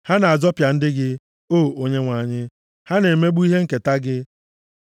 Ha na-azọpịa ndị gị, O Onyenwe anyị; ha na-emegbu ihe nketa gị.